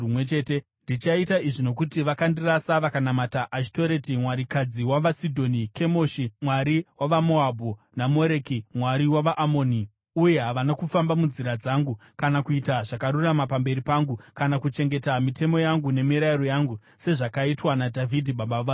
Ndichaita izvi nokuti vakandirasa vakanamata Ashitoreti, mwarikadzi wavaSidhoni, Kemoshi, mwari wavaMoabhu, naMoreki, mwari wavaAmoni, uye havana kufamba munzira dzangu, kana kuita zvakarurama pamberi pangu, kana kuchengeta mitemo yangu nemirayiro yangu sezvakaitwa naDhavhidhi, baba vaSoromoni.